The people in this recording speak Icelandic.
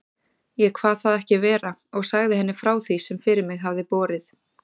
Ég kvað það ekki vera og sagði henni frá því, sem fyrir mig hafði borið.